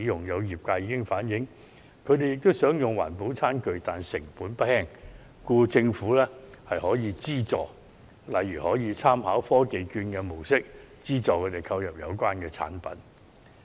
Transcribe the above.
有業界已經反映，他們雖然也想改用環保餐具，但成本不輕，希望政府可以提供資助，例如參考科技券的做法，資助他們購買環保餐具。